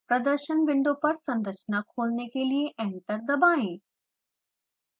प्रदर्शन विंडो पर संरचना खोलने के लिए enter दबाएँ